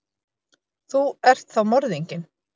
Þú ert þá morðinginn?